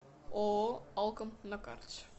ооо алком на карте